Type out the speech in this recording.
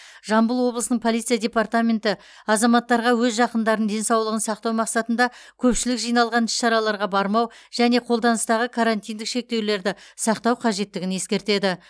жамбыл облысының полиция департаменті азаматтарға өз жақындарын денсаулығын сақтау мақсатында көпшілік жиналған іс шараларға бармау және қолданыстағы карантиндік шектеулерді сақтау қажеттігін ескертеді